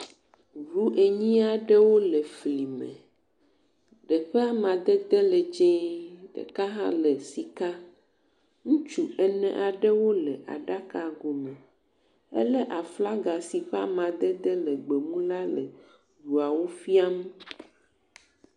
Ŋu enyi aɖewo le fli me. Ɖe ƒe amadede le dzee, ɖeka hã le sika. Ŋutsu ene aɖewo le aɖago me. Elé aflaga si ƒe amadede le gbemu la le ŋuawo fiam.